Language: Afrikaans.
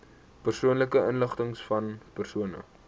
persoonlike inligtingvan persone